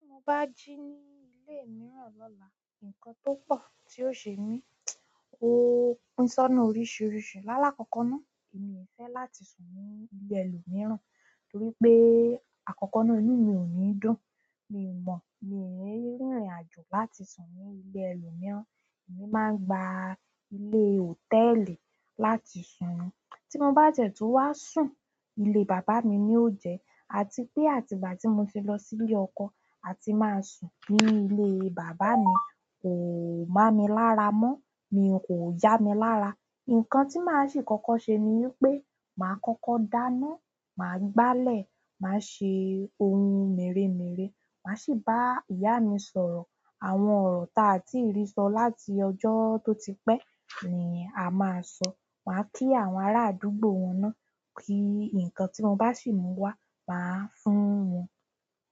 Tí mo bá jí ní ilé mìíràn lọ́la, ǹkan tó pọ̀ tí ó ṣe mí, ó pín sónà oríṣìíríṣìí. Láàlá kọ̀ọ̀kọọ náà, èmi fẹ́ láti sùn ní ilé ẹlòmíràn torí pé àkọ́kọ́ náà, inú mi ò ní dùn. Mi ò mọ̀, mi ò rìnrìnàjò láti sùn ní ilé ẹlòmíràn, èmi máa ń gba ilé hòtẹ́ẹ́lì láti sùn ni tí mo bá ti ẹ̀ tun wá sùn, ilé bàbá mi ni ó jẹ́, àti pé àtì bà tí mo ti lọ sí ilé ọkọ, a ti máa sùn nínú ilé bàbá mi. Kò má mi lára mọ́, mi kò yá mi lára. Ǹkan tí màá sì kọ́kọ́ ṣe ni wipé màá kọ́kọ́ dáná, màá gbálẹ̀, màá ṣe ohun mèremère, màá sì bá ìyá mi sọ̀rọ̀. Àwọn ọ̀rọ̀ ta tí ì rí sọ láti ọjọ́ tó ti pẹ́ ni a máa sọ. Màá kí àwọn ará àdúgbò wọn náà, kí ǹkan tí mo bá sì mú wá, màá fún wọn.